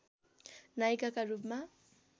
नायिकाका रूपमा